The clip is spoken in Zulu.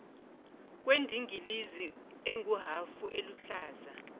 kwendingilizi enguhafu eluhlaza